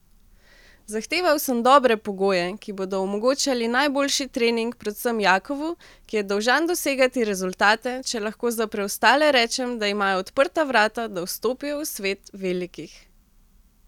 Zahteval sem dobre pogoje, ki bodo omogočali najboljši trening predvsem Jakovu, ki je dolžan dosegati rezultate, če lahko za preostale rečem, da imajo odprta vrata, da vstopijo v svet velikih.